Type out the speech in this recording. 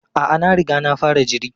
A'a, na riga na fara jiri.